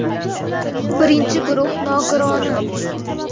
Birinchi guruh nogironi.